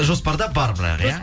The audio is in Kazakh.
жоспарда бар бірақ иә